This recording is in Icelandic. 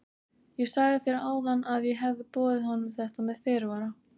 Ég sagði þér áðan að ég hefði boðið honum þetta með fyrirvara.